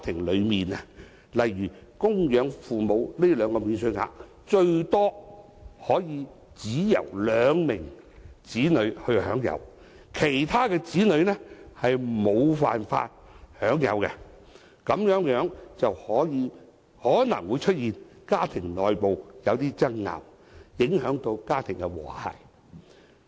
例如，供養父、母這兩項免稅額最多只可以由兩名子女享有，其他子女則無法享有，這往往會導致一些有較多兄弟姊妹的家庭內部出現爭拗，影響家庭和諧。